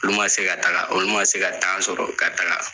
Olu ma se ka taga ,olu ma se ka sɔrɔ ka taga